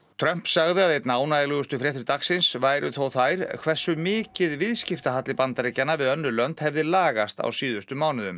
Trump sagði að einna ánægjulegustu fréttir dagsins væru þó þær hversu mikið viðskiptahalli Bandaríkjanna við önnur lönd hefði lagast á síðustu mánuðum